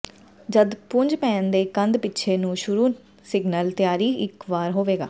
ਜਦ ਪੁੰਜ ਪੈਨ ਦੇ ਕੰਧ ਪਿੱਛੇ ਨੂੰ ਸ਼ੁਰੂ ਸਿਗਨਲ ਤਿਆਰੀ ਇੱਕ ਵਾਰ ਹੋਵੇਗਾ